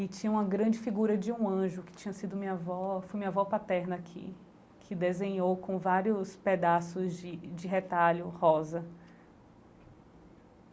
E tinha uma grande figura de um anjo que tinha sido minha avó, foi minha avó paterna que, que desenhou com vários pedaços de de retalho rosa.